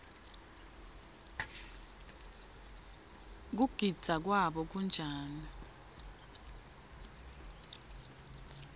kugidza kwabo kunjani